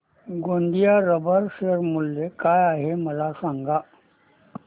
Govind rubber share मूल्य काय आहे मला सांगा